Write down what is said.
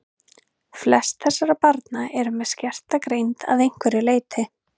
Flest þessara barna eru með skerta greind að einhverju leyti.